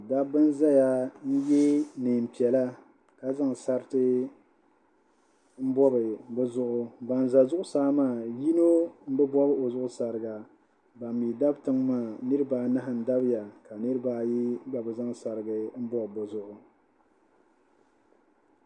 Dabba n-zaya ye neen'piɛla ka zaŋ sariti m-bɔbi bɛ zuɣu ban za zuɣusaa maa yino m-bi bɔbi o zuɣu sariga ban mi dabi tiŋ maa niriba anahi n-dabiya ka niriba ayi gba bi zaŋ sariga m-bɔbi bɛ zuɣu.